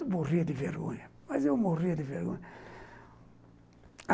Eu morria de vergonha, mas eu morria de vergonha.